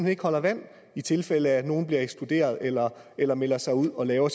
ikke holder vand i tilfælde af at nogle bliver ekskluderet eller eller melder sig ud og laver